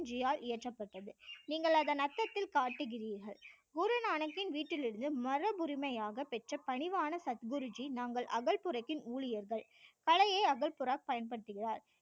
குருஜி யால் இயற்றப்பட்டது நீங்கள் அதன் அர்த்தத்தில் காட்டுகிறீர்கள் குரு நானக்கின் வீட்டில் இருந்து மரபு உரிமையாக பெற்ற பணிவான சத் குருஜி நாங்கள் அகல் புரத்தின் ஊழியர்கள் பழைய அகல் புரம் பயன்படுத்துகிறார்